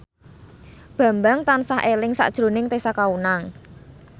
Bambang tansah eling sakjroning Tessa Kaunang